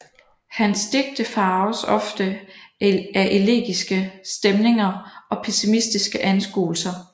Hans digte farves ofte af elegiske stemninger og pessimistiske anskuelser